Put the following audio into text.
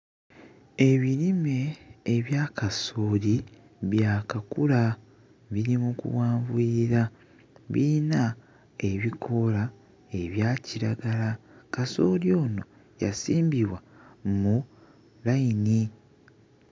Ebirime ebya kasooli byakakula biri mu kuwanvuyira biyina ebikoola ebya kiragala kasooli ono yasimbibwa mu layini.